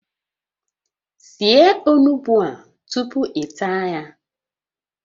Sie onugbu a tupu ị taa ya